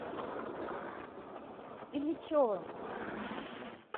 ильичевым